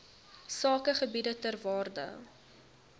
sakegebiede ter waarde